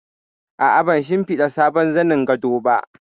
A'a, ban shimfiɗa sabon zanin gado ba